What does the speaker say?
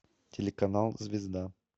телеканал звезда